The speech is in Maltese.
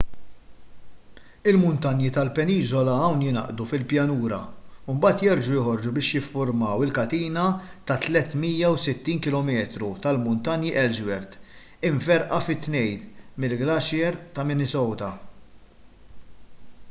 il-muntanji tal-peniżola hawn jingħaqdu fil-pjanura imbagħad jerġgħu joħorġu biex jiffurmaw il-katina ta' 360 km tal-muntanji ellsworth imferrqa fi tnejn mill-glaċier ta' minnesota